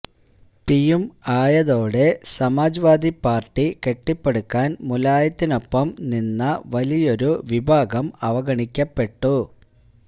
പിയും ആയതോടെ സമാജ്വാദി പാര്ട്ടി കെട്ടിപ്പടുക്കാന് മുലായത്തിനൊപ്പം നിന്ന വലിയൊരു വിഭാഗം അവഗണിക്കപ്പെട്ടു